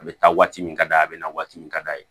A bɛ taa waati min ka d'a bɛ na waati min ka d'a ye